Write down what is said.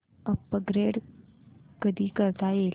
upgrade कधी करता येईल